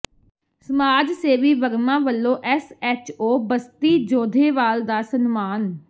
ਸਮਾਜ ਸੇਵੀ ਵਰਮਾ ਵੱਲੋਂ ਐੱਸਐੱਚਓ ਬਸਤੀ ਜੋਧੇਵਾਲ ਦਾ ਸਨਮਾਨ